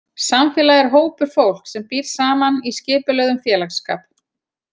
Samfélag er hópur fólks sem býr saman í skipulögðum félagsskap.